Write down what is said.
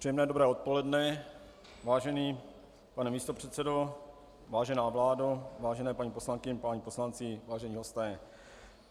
Příjemné dobré odpoledne, vážený pane místopředsedo, vážená vládo, vážené paní poslankyně, páni poslanci, vážení hosté.